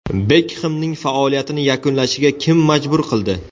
Bekxemning faoliyatini yakunlashiga kim majbur qildi?